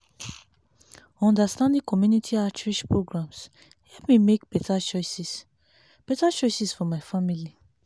understanding community outreach programs help me make better choices better choices for my family.